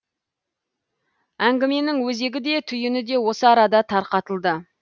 әңгіменің өзегі де түйіні де осы арада тарқатылды